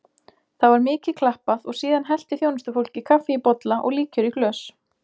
Það var mikið klappað og síðan hellti þjónustufólkið kaffi í bolla og líkjör í glös.